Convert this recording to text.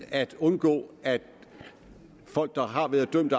at undgå at folk der har været dømt